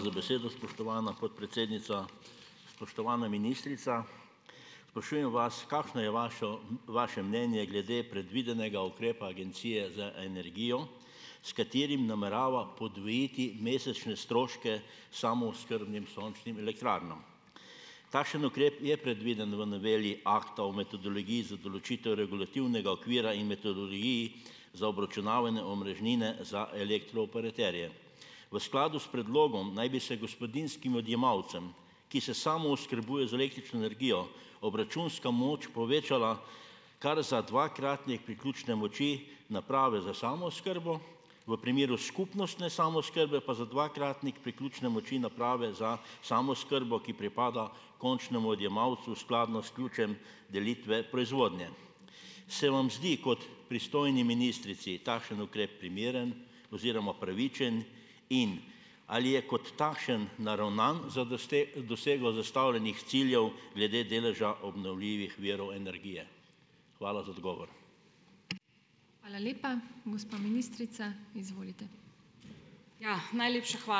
za besedo, spoštovana podpredsednica. Spoštovana ministrica, sprašujem vas, kakšna je vašo, vaše mnenje glede predvidenega ukrepa Agencije za energijo, s katerim namerava podvojiti mesečne stroške samooskrbnim sončnim elektrarnam. Takšen ukrep je predviden v noveli Akta o metodologiji za določitev regulativnega okvira in metodologiji za obračunavanje omrežnine za elektrooperaterje. V skladu s predlogom naj bi se gospodinjskim odjemalcem, ki se samooskrbujejo z električno energijo, obračunska moč povečala kar za dvakratnik priključne moči naprave za samooskrbo, v primeru skupnostne samooskrbe pa za dvakratnik priključne moči naprave za samooskrbo, ki pripada končnemu odjemalcu skladno s ključem delitve proizvodnje. Se vam zdi, kot pristojni ministrici, takšen ukrep primeren oziroma pravičen in ali je kot takšen naravnan za dosego zastavljenih ciljev glede deleža obnovljivih virov energije? Hvala za odgovor.